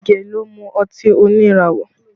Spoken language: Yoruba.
Ige ló mú ọtí oníràwọ̀